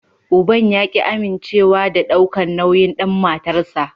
Uban ya ki amincewa da nauyin dan matarsa.